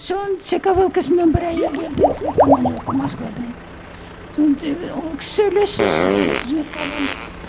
соны цк влксм нан бір әйел келді командировка москвадан ол кісі сөйлессін сізді кызметке алуға